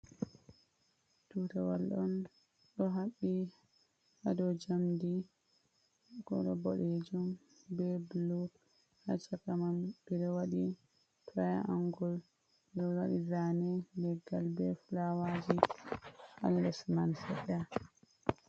Tutawal on ɗo haɓɓi ha dou njamdi kolo boɗejum be bulu, ha chaka man ɓeɗo waɗi triangul ɗo waɗi zane leggal be fulawaji ha les man seɗɗa.